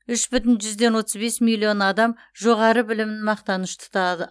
үш бүтін жүзден отыз бес миллион адам жоғары білімін мақтаныш тұтады